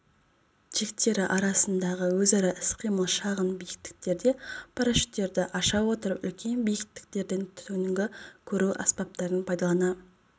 тектері арасындағы өзара іс-қимыл шағын биіктіктерде парашюттерді аша отырып үлкен биіктіктерден түнгі көру аспаптарын пайдалана